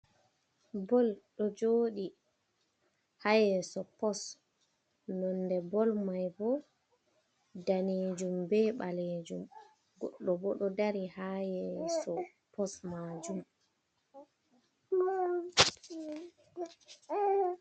Bol ɗo joɗi ha yeso pos nonde bol mai bo danejum ɓe balejum goɗɗo bo ɗo dari ha yeso pos majum.